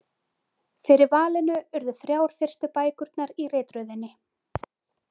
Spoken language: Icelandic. Fyrir valinu urðu þrjár fyrstu bækurnar í ritröðinni.